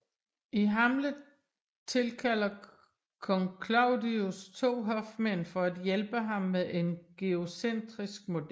I Hamlet tilkalder kong Claudius to hofmænd for at hjælpe ham med en geocentrisk model